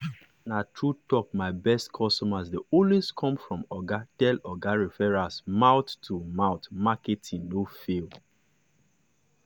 na true talk my best customers dey always come from oga tell oga referrals mouth-to-mouth marketing no fail.